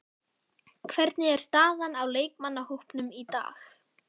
Hvernig er staðan á leikmannahópnum í dag?